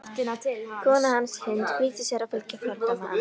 Kona hans, Hind, flýtir sér að fylgja fordæmi hans.